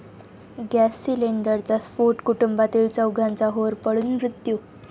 gas सिलेंडरचा स्फोट, कुटुंबातील चौघांचा होरपळून मृत्यू